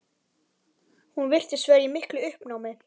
Hún virtist vera í miklu uppnámi.